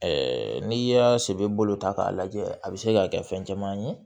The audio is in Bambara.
n'i y'a se bolo ta k'a lajɛ a bi se ka kɛ fɛn caman ye